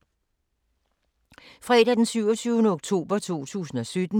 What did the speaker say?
Fredag d. 27. oktober 2017